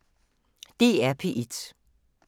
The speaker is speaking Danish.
DR P1